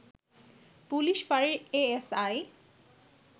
police ফাঁড়ির ASI